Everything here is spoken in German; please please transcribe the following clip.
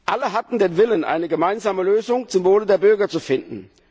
Alle hatten den Willen, eine gemeinsame Lösung zum Wohle der Bürger zu finden.